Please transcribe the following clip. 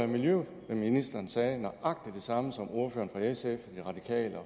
miljøministeren sagde nøjagtig det samme som ordførerne fra sf de radikale